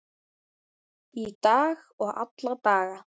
Í dag og alla daga.